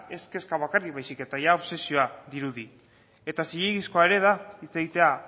ez kezka bakarrik baizik eta obsesioa dirudi eta zilegizkoa da hitz egitea